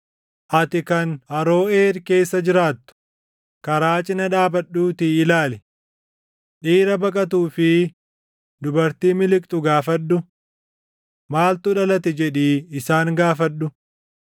Ati kan Aroʼeer keessa jiraattu, karaa cina dhaabadhuutii ilaali. Dhiira baqatuu fi dubartii miliqxu gaafadhu; ‘Maaltu dhalate?’ jedhii isaan gaafadhu.